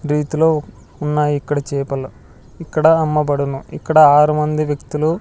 రీతిలో ఉన్నాయిక్కడ చేపలు ఇక్కడ అమ్మబడును ఇక్కడ ఆరు మంది వ్యక్తులు --